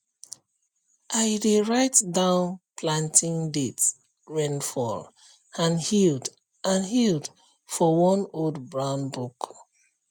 i dey write down planting date rainfall and yield and yield for one old brown book